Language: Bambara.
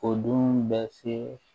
O dun bɛ se